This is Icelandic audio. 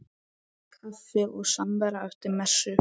Kaffi og samvera eftir messu.